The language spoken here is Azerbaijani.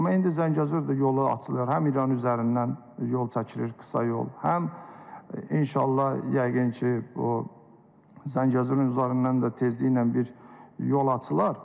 Amma indi Zəngəzurda yolu açılır, həm İran üzərindən yol çəkilir, qısa yol, həm inşallah, yəqin ki, bu Zəngəzurun üzərindən də tezliklə bir yol açılar.